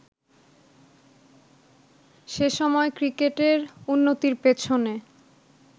সে সময় ক্রিকেটের উন্নতির পেছনে